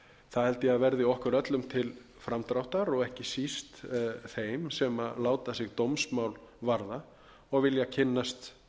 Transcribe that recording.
held ég að verði okkur öllum til framdráttar og ekki síst þeim sem láta sig dómsmál varða og vilja kynnast